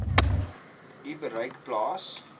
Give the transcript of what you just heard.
u bereik plaas